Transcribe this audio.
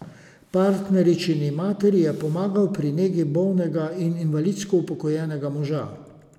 Partneričini materi je pomagal pri negi bolnega in invalidsko upokojenega moža.